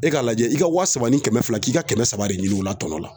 E ka lajɛ i ka wa saba ni kɛmɛ fila k'i ka kɛmɛ saba de ɲini u la tɔnɔ la